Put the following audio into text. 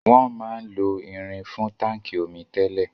Wọn máa ń lo irin fún táńkì omi tẹ́lẹ̀.